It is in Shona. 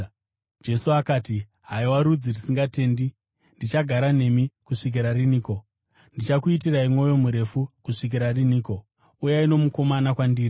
Jesu akati, “Haiwa rudzi rusingatendi, ndichagara nemi kusvikira riniko? Ndichakuitirai mwoyo murefu kusvikira riniko? Uyai nomukomana kwandiri.”